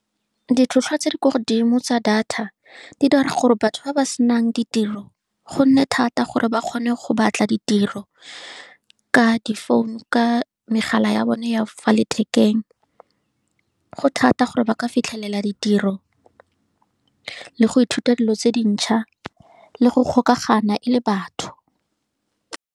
Ditlhwatlhwa tse di kwa godimo tsa data di dira gore batho ba ba senang ditiro go nne thata, gore ba kgone go batla ditiro ka difounu, ka megala ya bone ya fa lethekeng, go thata gore ba ka fitlhelela ditiro, le go ithuta dilo tse dintšha, le go golagana e le batho.